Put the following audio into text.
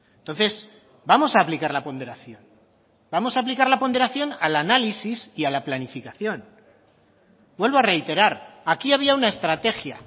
entonces vamos a aplicar la ponderación vamos a aplicar la ponderación al análisis y a la planificación vuelvo a reiterar aquí había una estrategia